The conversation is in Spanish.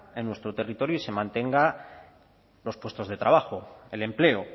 en nuestro territorio y se mantengan los puestos de trabajo el empleo